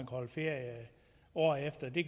holde ferie året efter det